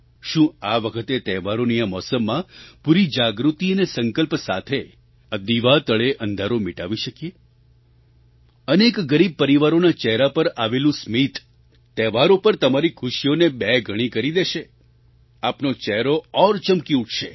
શું આ વખતે તહેવારોની આ મૌસમમાં પૂરી જાગૃતિ અને સંકલ્પ સાથે આ દીવા તળે અંધારું મિટાવી શકીએ અનેક ગરીબ પરિવારોના ચહેરા પર આવેલું સ્મિત તહેવારો પર તમારી ખુશીઓને બે ગણી કરી દેશે આપનો ચહેરો ઓર ચમકી ઉઠશે